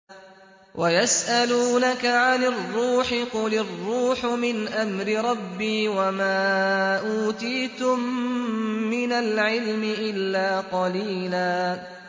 وَيَسْأَلُونَكَ عَنِ الرُّوحِ ۖ قُلِ الرُّوحُ مِنْ أَمْرِ رَبِّي وَمَا أُوتِيتُم مِّنَ الْعِلْمِ إِلَّا قَلِيلًا